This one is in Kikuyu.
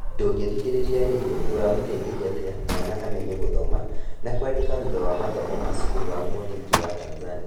Ndũngĩthikĩrĩria rĩngĩ ũramũteithĩrĩria atĩa mwana amenye gũthoma na kwandĩka thutha wa mathomo ma cukuru ya mũthingi Tanzania?